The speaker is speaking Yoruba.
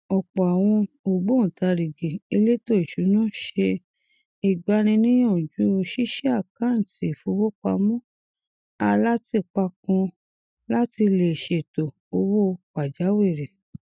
ọpọ àwọn ògbóntarìgì èlétò ìṣúná ṣe ìgbaniníyànjú ṣíṣí àkántì ìfowópamọ alátìpa kan láti lè ṣètò owó pàjáwírì